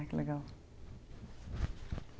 Ai, que legal.